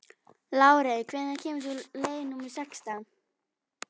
Lárey, hvenær kemur leið númer sextán?